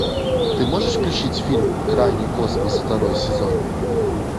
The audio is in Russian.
ты можешь включить фильм крайний космос второй сезон